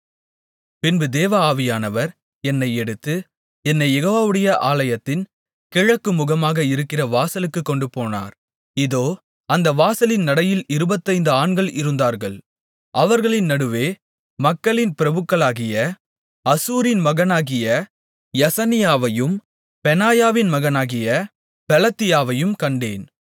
பின்பு தேவ ஆவியானவர் என்னை எடுத்து என்னைக் யெகோவாவுடைய ஆலயத்தின் கிழக்கு முகமாக இருக்கிற வாசலுக்குக் கொண்டுபோனார் இதோ அந்த வாசலின் நடையில் இருபத்தைந்து ஆண்கள் இருந்தார்கள் அவர்களின் நடுவே மக்களின் பிரபுக்களாகிய அசூரின் மகனாகிய யசனியாவையும் பெனாயாவின் மகனாகிய பெலத்தியாவையும் கண்டேன்